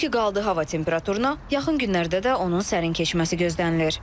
O ki qaldı hava temperaturuna, yaxın günlərdə də onun sərin keçməsi gözlənilir.